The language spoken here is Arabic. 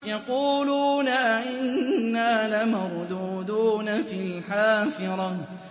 يَقُولُونَ أَإِنَّا لَمَرْدُودُونَ فِي الْحَافِرَةِ